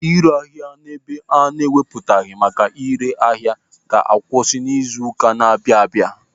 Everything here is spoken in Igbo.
Ịre ahịa n'ebe ana-ewupụtaghị maka ịre ahịa ga-akwụsị n'izu ụka na-abịa abịa.